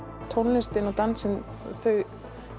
tónlistin og dansinn þau